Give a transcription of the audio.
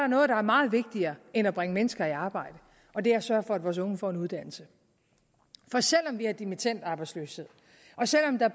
noget der er meget vigtigere end at bringe mennesker i arbejde og det er at sørge for at vores unge får en uddannelse for selv om vi har dimittendarbejdsløshed og selv om der